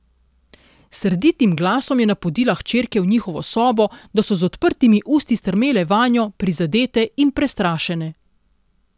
S srditim glasom je napodila hčerke v njihovo sobo, da so z odprtimi usti strmele vanjo, prizadete in prestrašene.